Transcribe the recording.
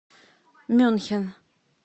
мюнхен